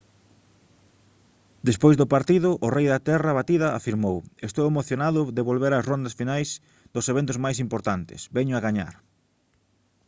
despois do partido o rei da terra batida afirmou: «estou emocionado de volver ás rondas finais dos eventos máis importantes. veño a gañar»